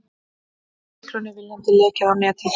Stiklunni viljandi lekið á netið